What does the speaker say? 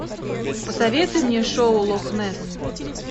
посоветуй мне шоу лох несс